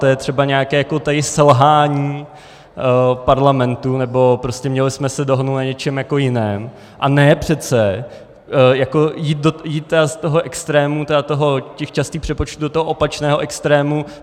To je třeba nějaké tady selhání parlamentu, nebo prostě měli jsme se dohodnout na něčem jiném, a ne přece jít z toho extrému těch častých přepočtů do toho opačného extrému.